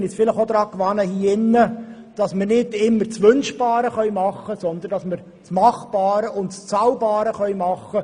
Wir müssen uns hier im Rat daran gewöhnen, dass wir nicht immer das Wünschbare tun können, sondern uns auf das Mach- und Zahlbare beschränken müssen.